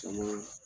Caman